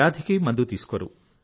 వ్యాధికి మందు తీసుకోరు